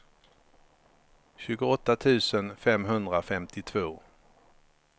tjugoåtta tusen femhundrafemtiotvå